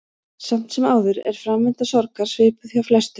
Samt sem áður er framvinda sorgar svipuð hjá flestum.